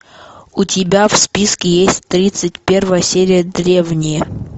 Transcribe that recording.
у тебя в списке есть тридцать первая серия древние